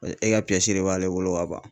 E ka de b'ale bolo ka ban